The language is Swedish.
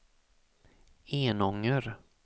Enånger